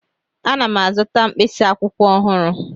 Ana m azụta mkpịsị akwụkwọ ọhụrụ.